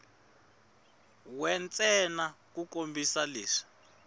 we ntsena ku kombisa leswi